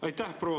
Aitäh!